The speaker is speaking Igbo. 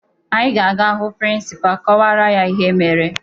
Anyị ga-aga hụ prịnsịpaa kọwara ya ihe mere